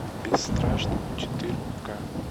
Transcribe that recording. бесстрашный четыре ка